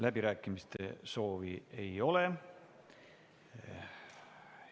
Läbirääkimiste soovi ei ole.